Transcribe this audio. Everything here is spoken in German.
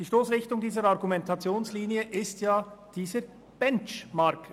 Die Stossrichtung dieser Argumentationslinie ist nämlich dieser Benchmark.